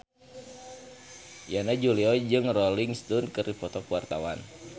Yana Julio jeung Rolling Stone keur dipoto ku wartawan